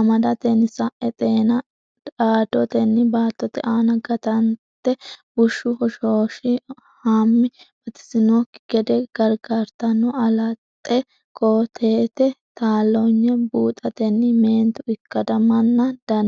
amadatenni sa’e xeenu dhaaddotenni baattote aana ganatenni bushshu hoshoos hama batisannokki gede gargartanno, alaxxe koo teete taalloonye buuxatenni meentu ikkadimmanna dan?